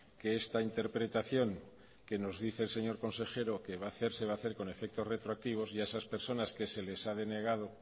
que esta interpretación que nos dice el señor consejero que va a hacer se va a hacer con efecto retroactivo y a esas personas que se les ha denegado